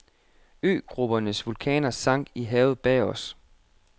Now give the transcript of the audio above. Øgruppens vulkaner sank i havet bag os.